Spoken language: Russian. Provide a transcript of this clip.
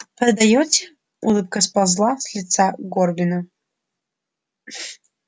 продаёте улыбка сползла с лица горбина